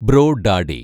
bro daddy